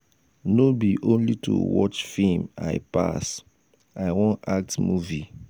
no be only to watch film i pass. i wan act movie